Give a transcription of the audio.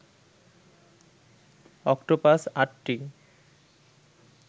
octopus আটটি